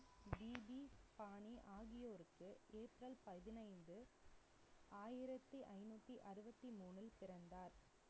BP பாணி ஆகியோருக்கு April பதினைந்து, ஆயிரத்தி ஐநூத்தி அறுபத்தி மூணில் பிறந்தார்.